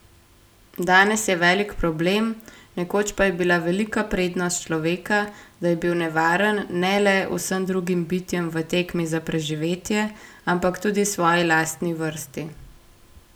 Danes je velik problem, nekoč pa je bila velika prednost človeka, da je bil nevaren ne le vsem drugim bitjem v tekmi za preživetje, ampak tudi svoji lastni vrsti.